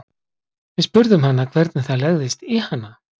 Við spurðum hana hvernig það legðist í hana?